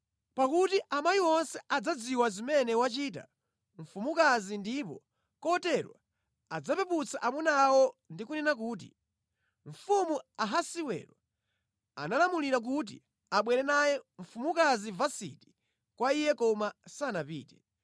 Pakuti amayi onse adzadziwa zimene wachita mfumukazi ndipo kotero adzapeputsa amuna awo ndi kunena kuti, ‘Mfumu Ahasiwero analamulira kuti abwere naye mfumukazi Vasiti kwa iye koma sanapite.’